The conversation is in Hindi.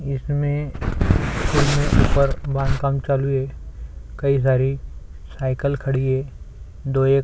इसमें ऊपर बांध काम चालू है कई सारी साईकिल खड़ी है दो एक --